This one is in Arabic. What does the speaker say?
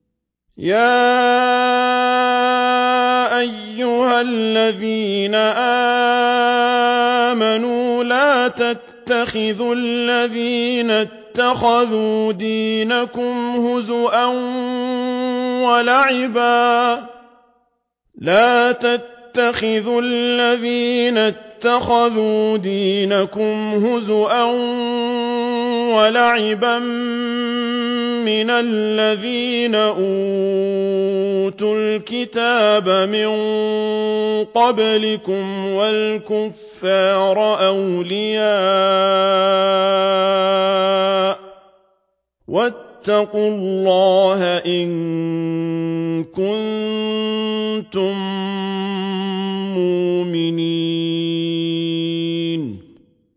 يَا أَيُّهَا الَّذِينَ آمَنُوا لَا تَتَّخِذُوا الَّذِينَ اتَّخَذُوا دِينَكُمْ هُزُوًا وَلَعِبًا مِّنَ الَّذِينَ أُوتُوا الْكِتَابَ مِن قَبْلِكُمْ وَالْكُفَّارَ أَوْلِيَاءَ ۚ وَاتَّقُوا اللَّهَ إِن كُنتُم مُّؤْمِنِينَ